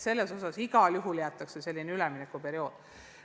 Selles osas jäetakse igal juhul teatav üleminekuperiood.